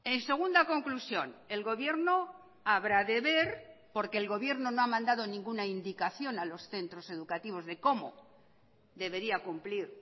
en segunda conclusión el gobierno habrá de ver porque el gobierno no ha mandado ninguna indicación a los centros educativos de cómo debería cumplir